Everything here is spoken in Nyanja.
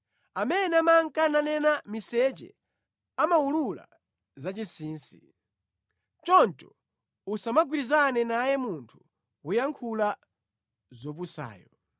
Amene amanka nanena miseche amawulula zachinsinsi. Choncho usamagwirizane naye munthu woyankhula zopusayo.